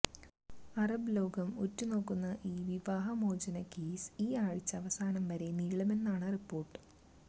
Arab ലോകം ഉറ്റു നോക്കുന്ന ഈ വിവാഹ മോചന കേസ് ഈ ആഴ്ച അവസാനം വരെ നീളുമെന്നാണ് റിപ്പോർട്ട്